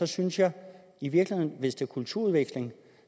synes jeg i virkeligheden at hvis det er kulturudveksling